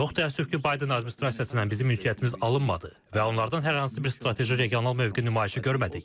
Çox təəssüf ki, Bayden administrasiyası ilə bizim ünsiyyətimiz alınmadı və onlardan hər hansı bir strateji regional mövqe nümayişi görmədik.